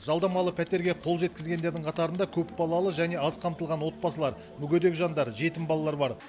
жалдамалы пәтерге қол жеткізгендердің қатарында көпбалалы және аз қамтылған отбасылар мүгедек жандар жетім балалар бар